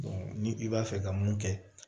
ni i b'a fɛ ka mun kɛ